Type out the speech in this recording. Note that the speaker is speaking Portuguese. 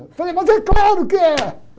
Eu falei, mas é claro que é!